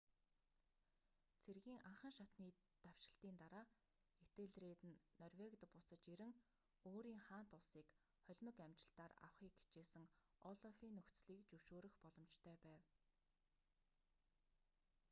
цэргийн анхан шатны давшилтын дараа этельред нь норвегид буцаж ирэн өөрийн хаант улсыг холимог амжилтаар авахыг хичээсэн олафын нөхцөлийг зөвшөөрөх боломжтой байв